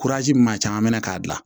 min ma caman minɛ k'a bila